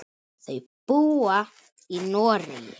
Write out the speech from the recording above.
Þau búa í Noregi.